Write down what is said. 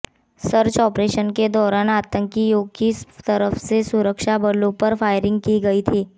search operation के दौरान आतंकियों की तरफ से सुरक्षाबलों पर फायरिंग की गई थी